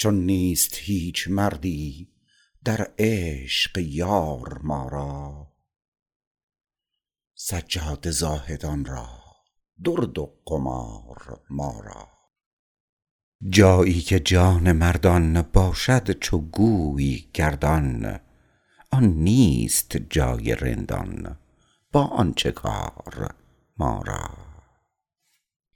چون نیست هیچ مردی در عشق یار ما را سجاده زاهدان را درد و قمار ما را جایی که جان مردان باشد —چو گوی— گردان آن نیست جای رندان با آن چه کار ما